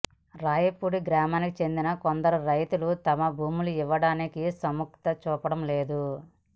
రాయపూడి గ్రామానికి చెందిన కొందరు రైతులు తమ భూములు ఇవ్వడానికి సుముఖత చూపడం లేదు